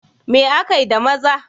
Me akai da maza?